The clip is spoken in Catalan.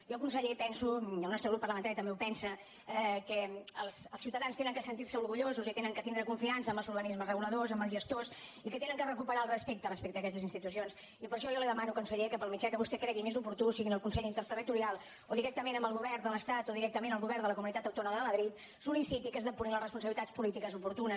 jo conseller penso i el nostre grup parlamentari també ho pensa que els ciutadans han de sentir se orgullosos i que han de tindre confiança amb els organismes reguladors amb els gestors i que han de recuperar el respecte respecte a aquestes institucions i per això jo li demano conseller que pel mitjà que vostè cregui més oportú sigui en el consell interterritorial o directament amb el govern de l’estat o directament amb el govern de la comunitat autònoma de madrid sol·liciti que es depurin les responsabilitats polítiques oportunes